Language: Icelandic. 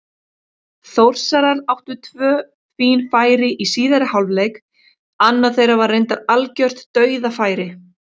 Þórsarar áttu tvö fín færi í síðari hálfleik, annað þeirra var reyndar algjört dauðafæri.